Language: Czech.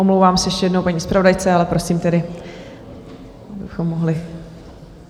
Omlouvám se ještě jednou paní zpravodajce, ale prosím tedy, abychom mohli...